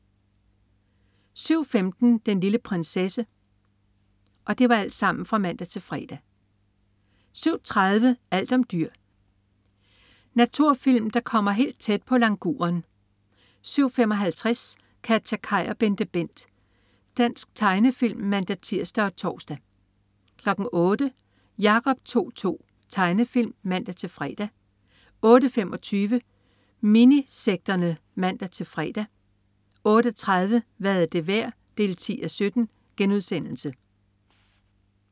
07.15 Den lille prinsesse (man-fre) 07.30 Alt om dyr. Naturfilm, der kommer helt tæt på languren 07.55 KatjaKaj og BenteBent. Dansk tegnefilm (man-tirs og tors) 08.00 Jacob To-To. Tegnefilm (man-fre) 08.25 Minisekterne (man-fre) 08.30 Hvad er det værd? 10:17*